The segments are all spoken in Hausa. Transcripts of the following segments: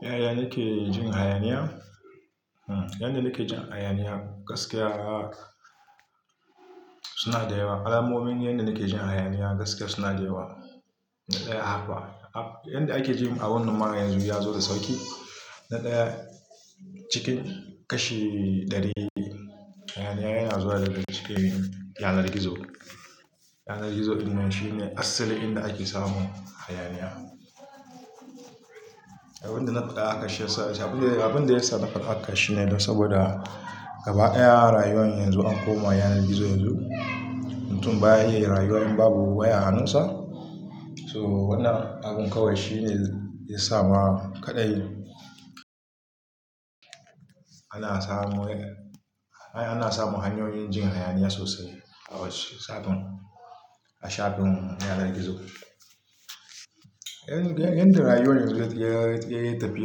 Yaya nake jin hayaniya? Yanda nake jin hayaniya gaskiya, suna da yawa. Alamomin yanda nake jin hayaniya gaskiya suna da yawa. Na ɗaya har fa. Yanda ake ji a wannan ma yanzu ya zo da sauƙi. Na ɗaya, cikin kashi ɗari hayaniya yana zuwa daga cikin yanar gizo. Yanar gizo wannan shine asalin inda ake samu hayaniya. Abin da na faɗa aka shirya, abin da ya faru aka shirya ne saboda gaba daƴa rayuwar yanzu ya koma yanar gizo yanzu. Mutum baya iya rayuwa in babu waya a hannunsa. So wannan abun kawai shine ya sa ma kaɗai ana samu yadda, ana samun hanyoyin jin hayaniya sosai a wasu safen, a shafin yanar gizo. Yanda rayuwar yanzu yayi tai yayi tafiya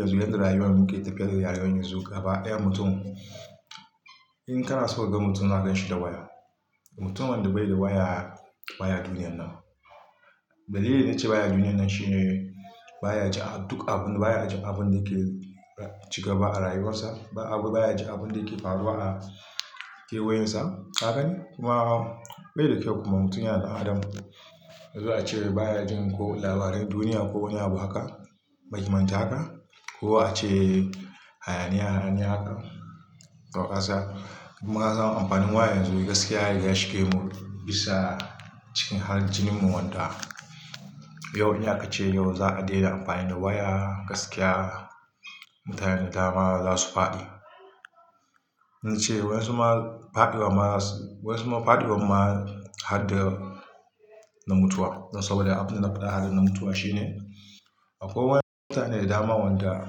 yanzu, yanda rayuwar muke tafiya rayuwar yanzu gaba ƴan mutum in kana so ka ga mutum za ka ganshi da waya. Mutumin wanda bai da waya baya duniyar nan. Dalilin na ce baya duniyar nan shine baya ji a duk abun, baya ji abun da ke cigaba a rayuwarsa. Baya ji abin da yake faruwa a kewayensa. Ka gane? Kuma bai da kyau kuma mutum yana da Adam. Zuwa a ce baya jin ko labaran duniya ko wani abu haka. Ba kimanta ba? Ko a ce hayaniya haka. Toh kasan. Kuma zan amfanin waya yanzu gaskiya ya shige mu bisa cikin halin jininmu wanda yau ina ka ce yau za a daina amfani da waya gaskiya mutane dama za su fadi. Na ce wasu ma fadi wa ma, wasu ma fadi wa ma har da, na mutuwa. Saboda abin da na faɗa har da na mutuwa shine akwai wani mutane da dama wanda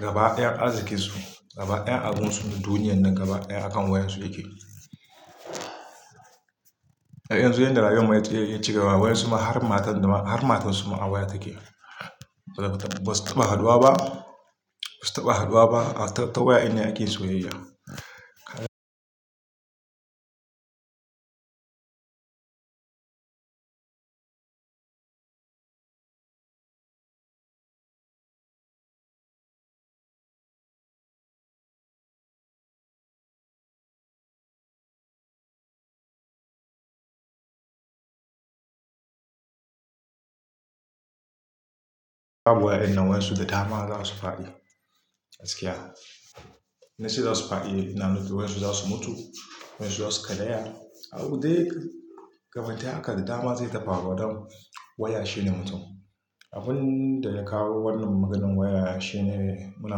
gaba daƴa arzikinsu, gaba daƴan abinsu duniyar nan gaba daƴa akan wayansu yake. Har yanzu yanda rayuwar mai tsaye yake ci gaba wasu ma har matan da ma har matansu ma a waya take. Basu taɓa haduwa ba. Basu taɓa haduwa ba. A tataba yanda ake soyayya. Fadi waya dinnan wayansu da dama za su fadi, gaskiya. Na ce za su fadi. Ina nufi wayansu za su mutu. Wayansu za su karaya. A wurin dai. Gaba daya haka da dama zai ta faruwa don waya shine mutum. Abin da ya kawo wannan maganan waya shine muna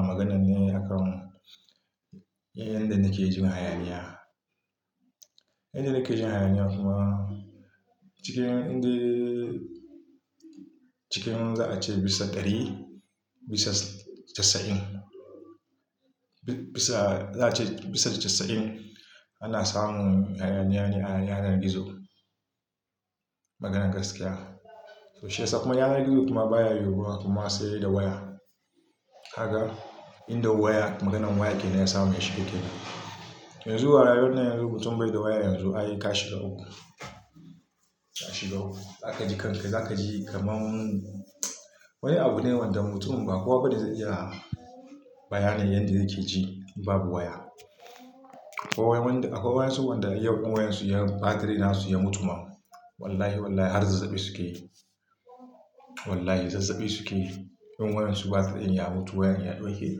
maganan yanda nake jin hayaniya. Yanda nake jin hayaniya kuma cikin inda, cikin za a ce bisa ɗari, bisa casa'in. Bisa za a ce bisa casa'in ana samu hayaniya ne a yanar gizo. Maganan gaskiya. Toh shiyasa kuma yanar gizo kuma baya yiwuwa kuma sai da waya. Ka ga inda waya maganan waya kenan ya samu ya shigo kenan. Yanzu a rayuwar nan yanzu mutum bai da waya yanzu ayi ka shiga wuku. Ka shiga wuku. Za ka ji kanka, za ka ji kamar wani abu ne wanda mutumin ba kowa bane zai iya bayana yanda yake ji babu waya. Akwai wasu wanda yau in wayansu ya ɓatiri nasu ya mutu ma. Wallahi wallahi har zazzabi suke yi. Wallahi zazzabi suke yi. In wayansu ɓatiri in ya mutu, wayan ya ɗauke.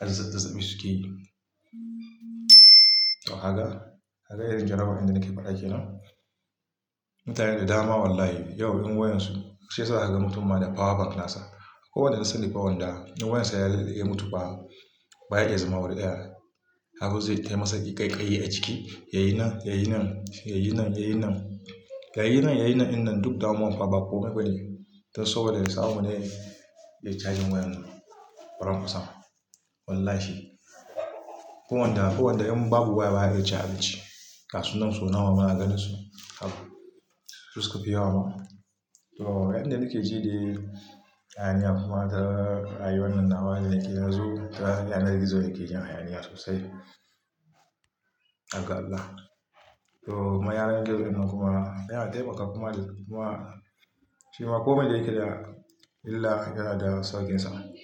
Har zazzabi suke yi. Toh ka ga, ka ga yanzun maganan da nake faɗa kenan. Mutanen da dama wallahi yau in wayansu sai za'a ga mutum ma da power bank nasa. Akwai waɗa na sani fa wanda in wayarsa ya mutu fa, baya iya zama wuri ɗaya. Abun zai yi tayi masa ƙaiƙayi a jiki. Yayi nan, yayi nan, yayi nan, yayi nan, yayi nan, yayi nan innan duk damuwa fa ba komai bane. Don saboda ya samu ne ya, iya cajin wayan nan. Karamin sa, wallahi! Duk wanda, duk wanda in babu waya baya iya caji. Ga su nan sau nawa ma, muna gananin su. Har, Su suke fi yewa ma. Toh wannan da nake ji dai, hayaniya kuma da rayuwar nan da waya yake yanzu. Da yanar gizo yake jan hayaniya sosai. Har ga Allah. To kuma yanar gizo wannan kuma yana taimakawa kuma kuma shi ma komai da yake da illa yana da sauƙinsa.